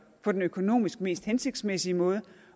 på den økonomisk mest hensigtsmæssige måde